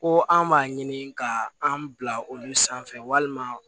Ko an b'a ɲini ka an bila olu sanfɛ walima